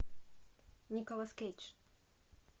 николас кейдж